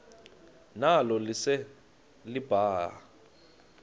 nalo lise libaha